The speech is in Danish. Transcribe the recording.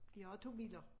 De har 2 biler